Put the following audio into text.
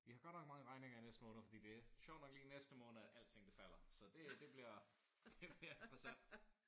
Vi har godt nok mange regninger i næste måned fordi det er sjovt nok lige i næste måned at alting det falder. Så det øh det bliver det bliver interessant